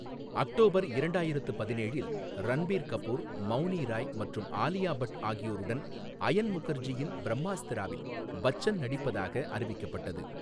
October இரண்டாயிரத்து பதினேழில், ரன்பீர் கபூர், மௌனி ராய் மற்றும் ஆலியா பட் ஆகியோருடன் அயன் முகர்ஜியின் பிரம்மாஸ்திராவில் பச்சன் நடிப்பதாக அறிவிக்கப்பட்டது.